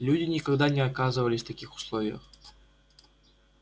люди никогда не оказывались в таких условиях